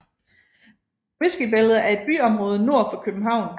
Whiskybæltet er et byområde nord for København